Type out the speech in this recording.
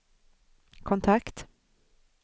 kontakt